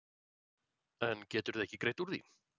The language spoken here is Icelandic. En geturðu ekki greitt úr því?